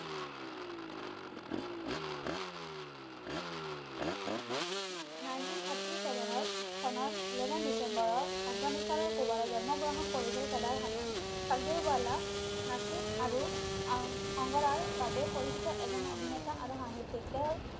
nineteen thirty seven চনৰ Eleven ডিচেম্বৰৰ আফগানিস্তানৰ কুবাৰাত জন্ম গ্ৰহণ কৰিছিল কেডাৰ খানে তাকডিৱালা নাচিব আৰু অংগাৰাৰ বাবে পৰিচিত এজন অভিনেতা আৰু সাহিত্যিক তেও